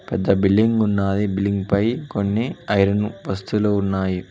పెద్ద బిల్లింగ్ ఉన్నాది బిల్లింగ్ పై కొన్ని ఐరన్ వస్తువులు ఉన్నాయి.